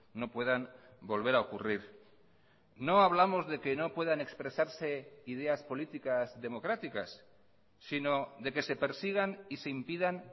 no puedan volver a ocurrir no hablamos de que no puedan expresarse ideas políticas democráticas sino de que se persigan y se impidan